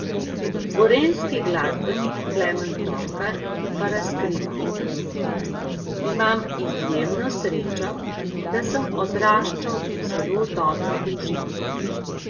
Gorenjski glasbenik Klemen Torkar pa razkriva: "Imam izjemno srečo, da sem odraščal v zelo dobri družini.